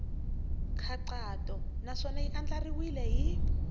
nkhaqato naswona ya andlariwile hi